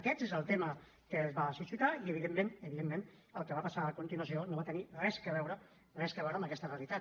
aquest és el tema que va suscitar i evidentment evidentment el que va passar a continuació no va tenir res a veure amb aquesta realitat